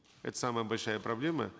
это самая большая проблема